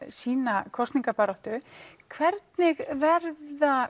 sína kosningabaráttu hvernig verða